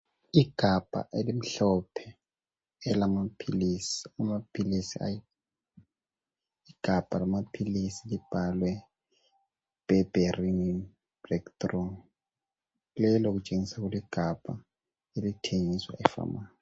Igabha elimhlophe elamaphilisi ayi. Amaphilisi. Igabha lamaphilisi libhalwe Berberine breakthrough. Lelo kutshengiswa kuligabha elithengiswa ephamarcy.